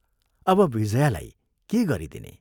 अब विजयालाई के गरिदिने?